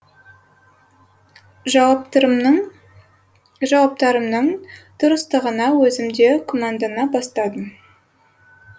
жауаптарымның дұрыстығына өзім де күмәндана бастадым